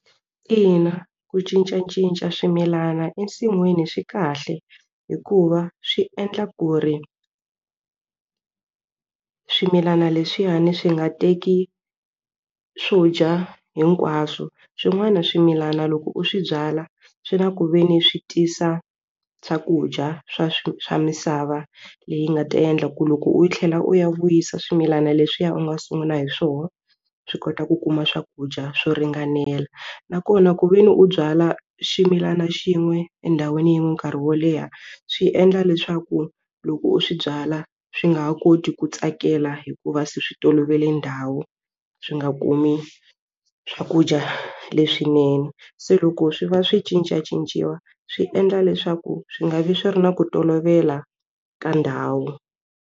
Ina ku cincacinca swimilana ensin'wini swi kahle hikuva swi endla ku ri swimilana leswiyani swi nga teki swo dya hinkwaswo swin'wana swimilana loko u swi byala swi na ku ve ni swi tisa swakudya swa swa misava leyi nga ta endla ku loko u tlhela u ya vuyisa swimilana leswiya u nga sungula hi swona swi kota ku kuma swakudya swo ringanela nakona ku ve ni u byala ximilana xin'we endhawini yin'we nkarhi wo leha swi endla leswaku loko u swi byala swi nga ha koti ku tsakela hikuva va se swi tolovele ndhawu swi nga kumi swakudya leswinene se loko swi va swi cincacinciwa swi endla leswaku swi nga vi swi ri na ku tolovela ka ndhawu.